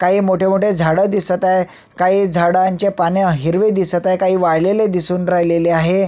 काही मोठे मोठे झाड दिसत आहे काही झाडांचे पान हिरवे दिसत आहे काही वाळलेले दिसून राहिलेले आहे.